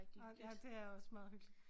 Nåh ja det er også meget hyggeligt